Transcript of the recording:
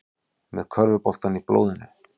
Með körfuboltann í blóðinu